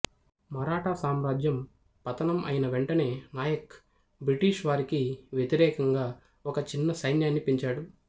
మరాఠా సామ్రాజ్యం పతనం అయిన వెంటనే నాయక్ బ్రిటిష్ వారికి వ్యతిరేకంగా ఒక చిన్న సైన్యాన్ని పెంచాడు